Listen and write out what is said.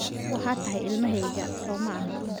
Waxaad tahay ilmahayga, saw maaha?